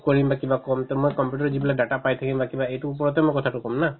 কৰিম বা কিবা কম to মই computer ত যিবিলাক data পাই থাকিম বা কিবা এইটোৰ ওপৰতে মই কথাতো কম না